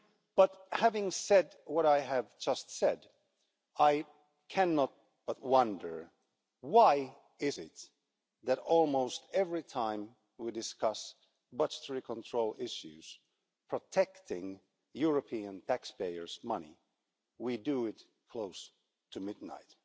But, having said what I have just said, I cannot but wonder why it is that almost every time we discuss budgetary control issues protecting European taxpayers' money we do it close to midnight.